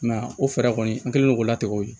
I m'a ye o fɛɛrɛ kɔni an kɛlen don k'o latigɛ o ye